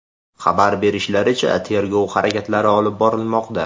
Xabar berishlaricha, tergov harakatlari olib borilmoqda.